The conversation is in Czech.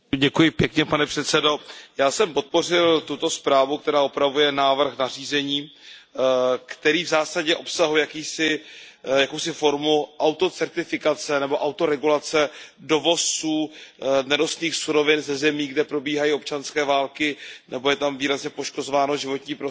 Pane předsedající, já jsem podpořil tuto zprávu, která upravuje návrh nařízení, který v zásadě obsahuje jakousi formu autocertifikace nebo autoregulace dovozců nerostných surovin ze zemí, kde probíhají občanské války nebo je tam výrazně poškozováno životní prostředí.